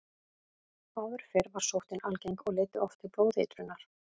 Áður fyrr var sóttin algeng og leiddi oft til blóðeitrunar.